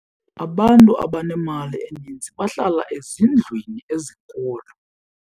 Abantu abanemali eninzi bahlala ezindlwini ezinkulu.